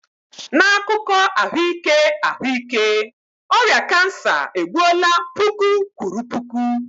N'akụkọ ahụike ahụike, ọrịa kansa egbuola puku kwuru puku.